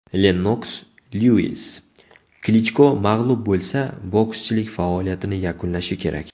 Lennoks Lyuis: Klichko mag‘lub bo‘lsa, bokschilik faoliyatini yakunlashi kerak.